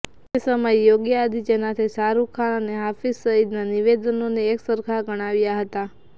તે સમયે યોગી આદિત્યનાથે શાહરૂખ ખાન અને હાફિઝ સઇદના નિવેદનોને એક સરખા ગણાવ્યા હતા